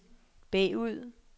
bagud